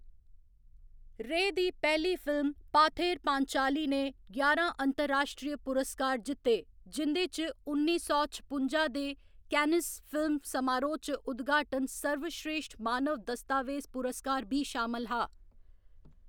रे दी पैह्‌ली फिल्म, पाथेर पांचाली ने ञारां अंतर्राश्ट्री पुरस्कार जित्ते, जिं'दे च उन्नी सौ छपुंजा दे कैन्नेस फिल्म समारोह्‌‌ च उद्घाटन सर्वश्रेश्ठ मानव दस्तावेज पुरस्कार बी शामल हा।